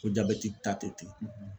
Ko jabɛti ta tɛ ten